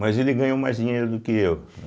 Mas ele ganhou mais dinheiro do que eu, né?